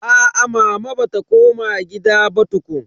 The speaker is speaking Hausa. Aa mama bata koma gida ba tukun.